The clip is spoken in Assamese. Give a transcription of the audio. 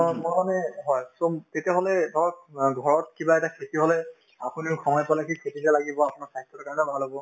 )‌) হয় so তেতিয়াহলে ধৰক অ ঘৰত কিবা এটা খেতি হলে আপুনিও সময় পালে সেই খেতিতে লাগিব আপোনাৰ স্বাস্থ্যৰ কাৰণেও ভাল হব